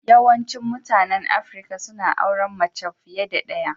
Yawaicin mutanen Afirka suna auren mace fiye da ɗaya.